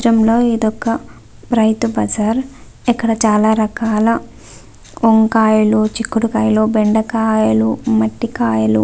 చిత్రం లో ఇది ఒక్క రైతు బజార్ ఇక్కడ చాలా రకాల వంకాయలు చిక్కుడుకాయలు బెండకాయలు మట్టి కాయలు --